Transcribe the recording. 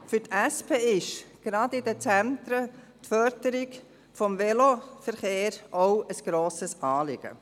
Der SP ist gerade auch in den Zentren die Förderung des Veloverkehrs ein grosses Anliegen.